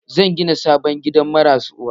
Zan gina sabon gidan marasa uwa